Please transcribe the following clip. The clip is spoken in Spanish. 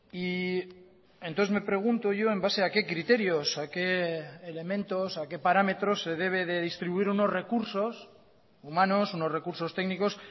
y entonces me pregunto yo en base a qué criterios a qué elementos a qué parámetros se debe de distribuir unos recursos humanos unos recursos técnicos